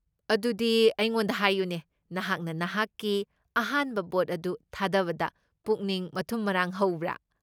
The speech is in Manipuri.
ꯑꯗꯨꯗꯤ ꯑꯩꯉꯣꯟꯗ ꯍꯥꯏꯌꯨꯅꯦ, ꯅꯍꯥꯛꯅ ꯅꯍꯥꯛꯀꯤ ꯑꯍꯥꯟꯕ ꯚꯣꯠ ꯑꯗꯨ ꯊꯥꯗꯕꯗ ꯄꯨꯛꯅꯤꯡ ꯃꯊꯨꯝ ꯃꯔꯥꯡ ꯍꯧꯕ꯭ꯔꯥ?